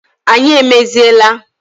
Anyị emeziela